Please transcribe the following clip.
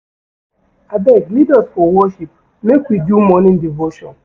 Abeg lead us for worship make we do morning devotion.